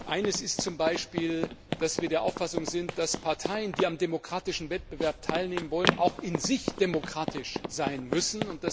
Einer ist zum Beispiel, dass wir der Auffassung sind, dass Parteien, die am demokratischen Wettbewerb teilnehmen wollen, auch in sich demokratisch sein müssen.